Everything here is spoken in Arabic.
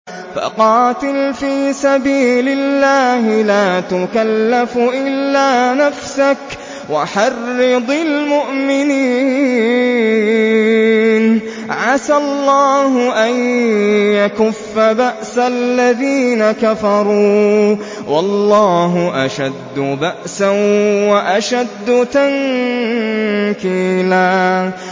فَقَاتِلْ فِي سَبِيلِ اللَّهِ لَا تُكَلَّفُ إِلَّا نَفْسَكَ ۚ وَحَرِّضِ الْمُؤْمِنِينَ ۖ عَسَى اللَّهُ أَن يَكُفَّ بَأْسَ الَّذِينَ كَفَرُوا ۚ وَاللَّهُ أَشَدُّ بَأْسًا وَأَشَدُّ تَنكِيلًا